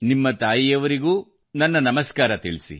ನಿಮ್ಮ ತಾಯಿಯವರಿಗೂ ನನ್ನ ನಮಸ್ಕಾರ ತಿಳಿಸಿ